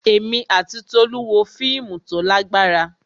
Èmi àti Tolu wo fíìmù tó lágbára.